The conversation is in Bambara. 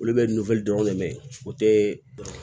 Olu bɛ dɔrɔn de mɛn o tɛ ban